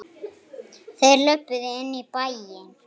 Þeir löbbuðu inn í bæinn.